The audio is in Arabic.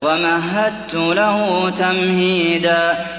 وَمَهَّدتُّ لَهُ تَمْهِيدًا